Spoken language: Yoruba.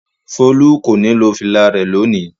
Folú kò ní lo fìlà rẹ̀ lónìí!